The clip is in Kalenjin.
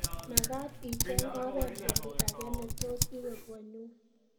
Magaat icheng oret oli age netos iwe konnyu